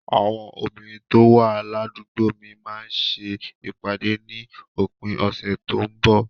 Àwọn obìnrin tó wà ládùúgbò mi máa ń ṣe ìpàdé ní òpin ọ̀sẹ̀ tó ń bọ̀.